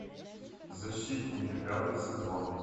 защитники пятый сезон